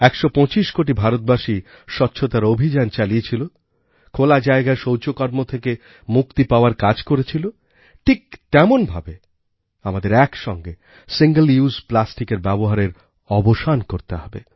১২৫ কোটি ভারতবাসী স্বচ্ছতার অভিযান চালিয়েছিল খোলা জায়গায় শৌচকর্ম থেকে মুক্তি পাওয়ার কাজ করেছিল ঠিক তেমন ভাবে আমাদের একসঙ্গে সিঙ্গল উসে plasticএর ব্যবহারেরঅবসান করতে হবে